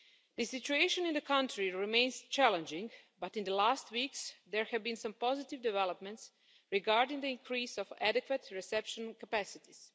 The situation in the country remains challenging, but in the last weeks, there have been some positive developments regarding the increase of adequate reception capacities.